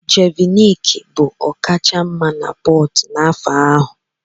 Jeviniki bụ ọkachamma na Portu n'afọ ahụ.